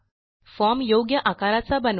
form योग्य आकाराचा बनवा